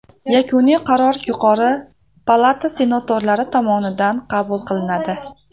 Yakuniy qaror yuqori palata senatorlari tomonidan qabul qilinadi.